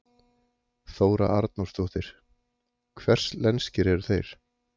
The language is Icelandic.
Þóra Arnórsdóttir: Hvers lenskir eru þeir?